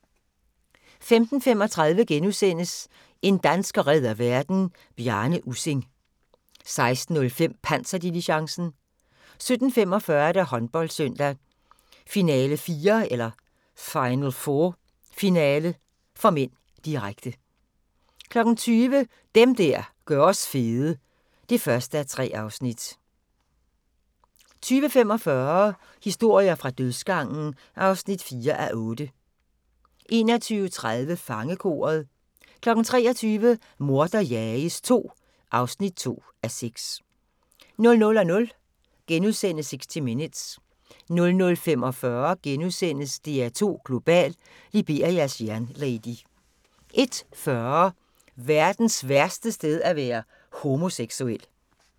15:35: En dansker redder verden - Bjarne Ussing (5:6)* 16:05: Panserdiligencen 17:45: Håndboldsøndag: Final4 – finale (m), direkte 20:00: Dem der gør os fede (1:3) 20:45: Historier fra dødsgangen (4:8) 21:30: Fangekoret 23:00: Morder jages II (2:6) 00:00: 60 Minutes * 00:45: DR2 Global: Liberias jernlady * 01:40: Verdens værste sted at være homoseksuel